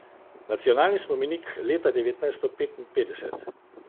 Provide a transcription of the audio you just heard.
Nacionalni spomenik leta devetnajsto petinpetdeset.